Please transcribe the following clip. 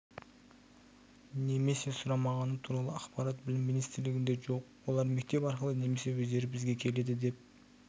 немесе сұрамағаны туралы ақпарат білім министрлігінде жоқ олар мектеп арқылы немесе өздері бізге келеді деп